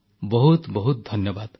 ବହୁତ ବହୁତ ଧନ୍ୟବାଦ